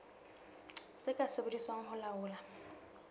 tse ka sebediswang ho laola